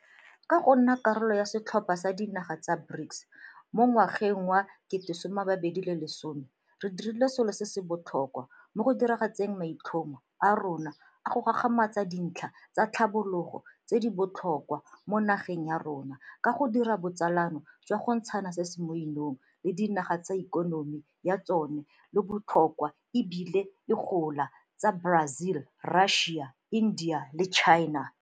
Ka go nna karolo ya setlhopha sa dinaga tsa BRICS mo ngwageng wa 2010 re dirile selo se se botlhokwa mo go diragatseng maitlhomo a rona a go gagamatsa dintlha tsa tlhabologo tse di botlhokwa mo nageng ya rona ka go dira botsalano jwa go ntshana se se mo 'inong le dinaga tse ikonomi ya tsona e leng bo tlhokwa e bile e gola tsa Brazil, Russia, India le China.